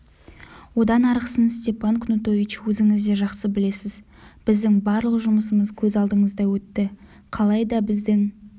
одан арғысын степан кнутович өзіңіз де жақсы білесіз біздің барлық жұмысымыз көз алдыңызда өтті қалайда біздің